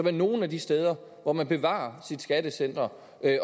er nogle af de steder hvor man bevarer sit skattecenter